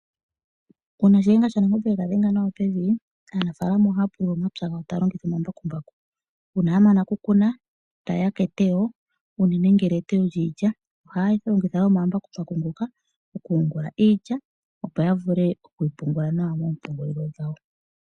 Uuna Shìyenga Shanangombe yega dhenga nawa pevi aanafalama ohaya pulula omapya gawo taa longitha omambakumbaku uuna ya mana oku teya ta yeya keteyo unene ngele etoyo lyiilya ohaya longitha omambakumbaku okuyungula iilya opo ya vule okuyi pungula.